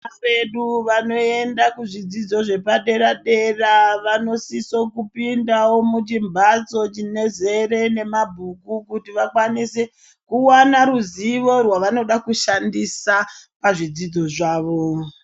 Vana besu vanoenda kuzvidzidzo zvepadera dera vanosiso kupindao muchimbatso chinozere nemabhuku kuti vakwanise kuwana ruzivo rwavanoda kushandisa pazvidzidzo zvavo.